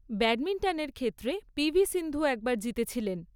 ব্যাডমিন্টনের ক্ষেত্রে পি.ভি. সিন্ধু একবার জিতেছিলেন।